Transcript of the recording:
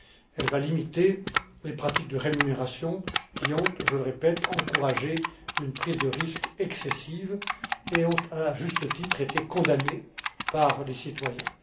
Elle va limiter les pratiques de rémunération qui ont, je le répète, encouragé une prise de risques excessive et ont, à juste titre, été condamnées par les citoyens.